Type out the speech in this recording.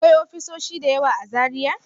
Akwai ofisoshi da yawa a Zaria?